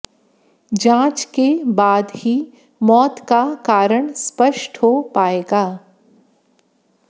जांच के बाद ही मौत का कारण स्पष्ट हो पाएगा